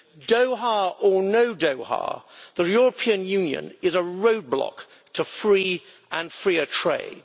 Doha or no Doha, the European Union is a roadblock to free and freer trade.